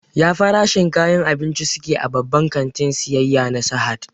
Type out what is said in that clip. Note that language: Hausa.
Ya farashin kayan abinci su ke a babban kantin siyayya na Sahad?